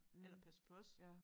Eller passer på os